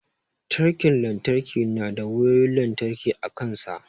Tirken lantarki na da wayoyin lantarki a kansa.